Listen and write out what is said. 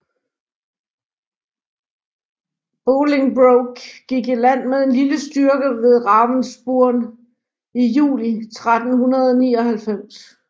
Bolingbroke gik i land med en lille styrke ved Ravenspurn i juli 1399